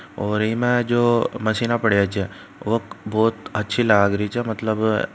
और एमा जो मशीना पड़ी छह वो बहुत अच्छी लाग रही छह मतलब--